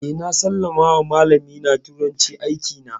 Eh, na sallama wa malamin mu turanci, aiki na